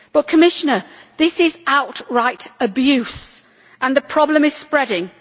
But, Commissioner, this is outright abuse and the problem is spreading.